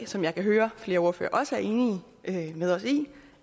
som jeg kan høre flere ordførere også er enige med os i